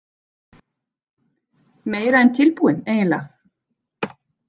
Meira en tilbúin eiginlega.